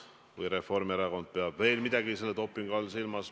Või peab Reformierakond veel midagi selle dopingu all silmas?